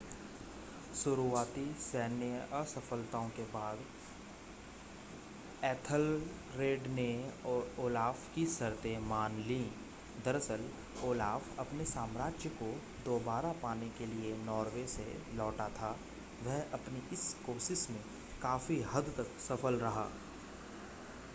शुरुआती सैन्य असफलताओं के बाद एथलरेड ने ओलाफ़ की शर्तें मान लीं दरअसल ओलाफ़ अपने साम्राज्य को दोबारा पाने के लिए नॉर्वे से लौटा था वह अपनी इस कोशिश में काफ़ी हद तक सफल रहा